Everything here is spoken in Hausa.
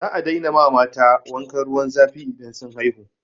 Za a daina ma mata wankan ruwan zafi idan sun haihu.